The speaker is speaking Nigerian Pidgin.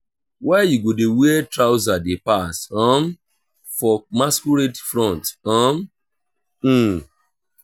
why you go dey wear trouser dey pass um for masquerade front um?